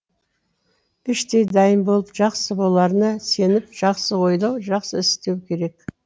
іштей дайын болып жақсы боларына сеніп жақсы ойлау жақсы іс істеу керек